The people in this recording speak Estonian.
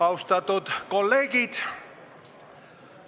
Austatud kolleegid!